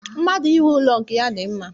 Mmadụ inwe ụlọ nke ya dị mma